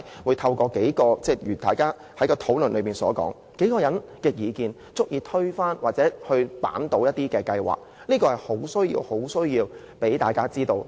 為何在討論期間，數個人的意見竟然足以推翻或扳倒一項計劃，這是需要向大家交代的。